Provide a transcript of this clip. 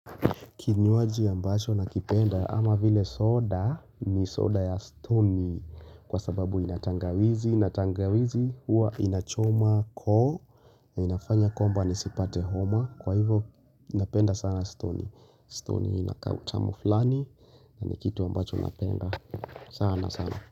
Kinywaji ambacho nakipenda ama vile soda ni soda ya stoni kwa sababu ina tangawizi, na tangawizi hua inachoma koo na inafanya kwamba nisipate homa kwa hivo napenda sana stoni, stoni ina kautamu fulani na ni kitu ambacho napenda sana sana.